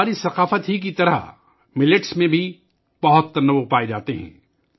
ہماری تہذیب کی طرح ملٹ میں بھی بہت زیادہ تنوع پایا جاتا ہے